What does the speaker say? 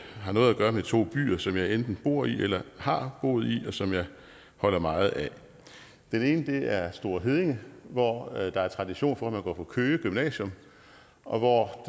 har noget at gøre med to byer som jeg enten bor i eller har boet i og som jeg holder meget af den ene er store heddinge hvor der er tradition for at man går på køge gymnasium og hvor